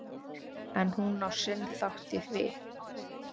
En hún á sinn þátt í því.